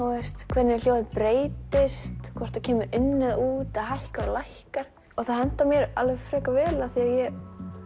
hvernig hljóðið breytist hvort það kemur inn eða út eða hækkar og lækkar það hentar mér alveg frekar vel af því að ég